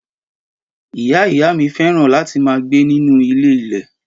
Ìyá ìyá mí féràn láti ma gbe nínú ilé ilè